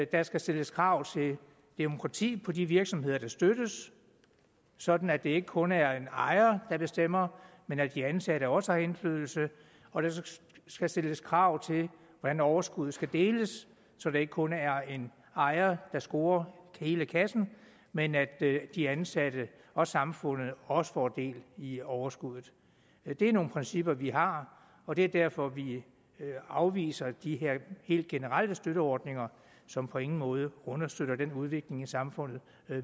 der skal stilles krav til demokrati på de virksomheder der støttes sådan at det ikke kun er en ejer der bestemmer men at de ansatte også har indflydelse og der skal stilles krav til hvordan overskuddet skal deles så det ikke kun er en ejer der scorer hele kassen men at de ansatte og samfundet også får del i overskuddet det er nogle principper vi har og det er derfor vi afviser de her helt generelle støtteordninger som på ingen måde understøtter den udvikling i samfundet